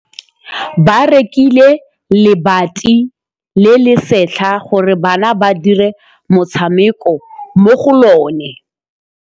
Ba rekile lebati le le setlha gore bana ba dire motshameko mo go lona.